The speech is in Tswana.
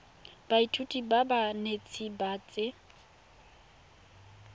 baithuti ba banetshi ba tsa